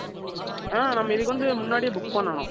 ஆ, நம்ம இதுக்கு வந்து, முன்னாடியே book பண்ணணும்